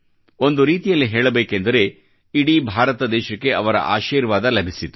ಒಂದು ರೀತಿಯಲ್ಲಿ ಹೇಳಬೇಕೆಂದರೆ ಇಡೀ ಭಾರತ ದೇಶಕ್ಕೆ ಅವರ ಆಶೀರ್ವಾದ ಲಭಿಸಿತು